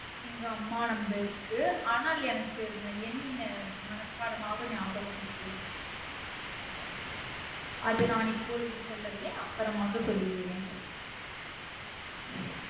எங்க அம்மா number க்கு அனால் எனக்கு அந்த எண் மனப்பாடமாக நியாபகம் இருக்கிறது அது நான் இப்பொழுது சொல்லவில்லை அப்பறமாக சொல்லுகிறேன்